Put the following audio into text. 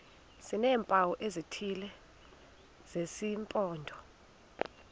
sineempawu ezithile zesimpondo